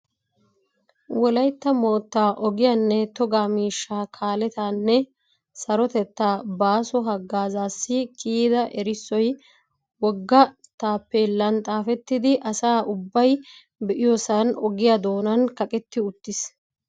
Wolaytta moottaa ogiyanne togaa miishshaa kaaletaanne sarotettaa baaso haggaazassi kiyida erissoy wogga taappeellan xaafettidi asa ubbay be'iyosan ogiya doonan kaqetti uttiis.